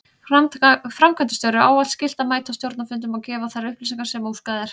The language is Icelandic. Framkvæmdastjóra er ávallt skylt að mæta á stjórnarfundum og gefa þær upplýsingar sem óskað er.